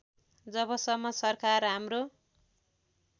जबसम्म सरकार हाम्रो